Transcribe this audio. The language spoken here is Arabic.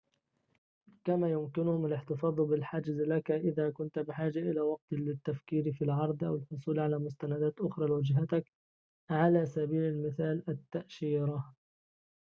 كما يمكنهم الاحتفاظ بالحجز لك إذا كنت بحاجة إلى وقت للتفكير في العرض أو الحصول على مستندات أخرى لوجهتك على سبيل المثال، التأشيرة